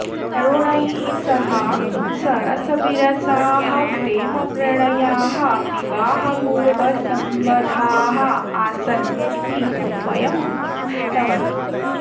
तरुणैः सह सरसविरसाः प्रेमप्रणयाः विवाहपूर्वसम्बधाः आसन् इति स्वयम् उद्घुष्टवती